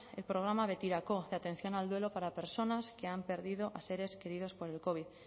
el programa betirako de atención al duelo para personas que han perdido a seres queridos por el covid